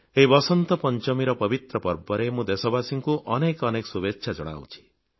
ଏହି ବସନ୍ତ ପଂଚମୀର ପବିତ୍ର ପର୍ବରେ ମୁଁ ଦେଶବାସୀଙ୍କୁ ଅନେକ ଅନେକ ଶୁଭେଚ୍ଛା ଜଣାଉଛି